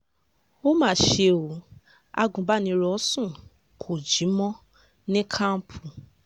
ó mà ṣe o agunbánirò sùn kó jí mọ́ ní kọnpù